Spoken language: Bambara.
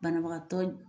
Banabagatɔ